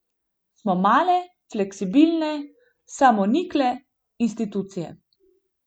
Smo male, fleksibilne, samonikle institucije.